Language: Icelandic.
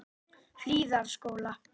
Hlíðarskóla